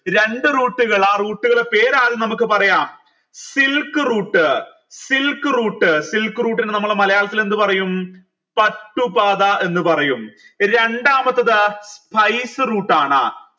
രണ്ടു route കൾ ആ route കൾ പേര് ആദ്യം നമുക്ക് പറയാം silk route silk route silk route ന് നമ്മൾ മലയാളത്തിൽ എന്ത് പറയും പട്ടു പാത എന്ന് പറയും രണ്ടാമത്തെത് spiceroute ആണ്